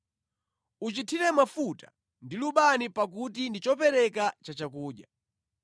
Uchithire mafuta ndi lubani pakuti ndi chopereka cha chakudya.